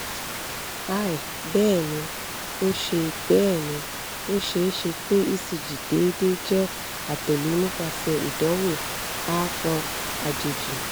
hi! bẹẹni o ṣee bẹẹni o ṣee ṣe pe ecg deede jẹ atẹle nipasẹ idanwo aapọn ajeji